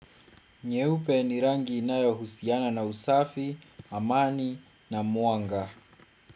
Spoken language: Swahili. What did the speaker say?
Nyeupe ni rangi inayohusiana na usafi, amani na mwanga.